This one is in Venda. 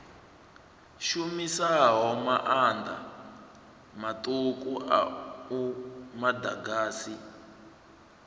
shumisaho maanḓa maṱuku a muḓagasi